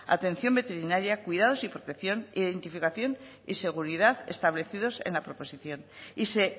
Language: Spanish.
atención veterinaria cuidados y protección e identificación y seguridad establecidos en la proposición y se